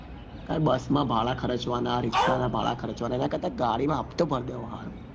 અત્યારે બસ માં ભાડા ખર્ચવાના ના રીક્ષા ના ભાડા ખર્ચવાના એના કરતા તો ગાડી માં હપ્તો ભરી દેવો સારો